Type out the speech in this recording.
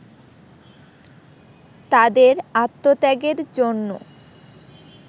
তাদের আত্মত্যাগের জন্য